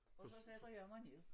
Og så sætter jeg mig ned